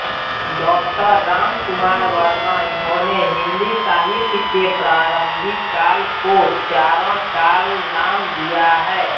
डॉरामकुमार वर्मा इन्होंने हिंदी साहित्य के प्रारंभिक काल को चारणकाल नाम दिया है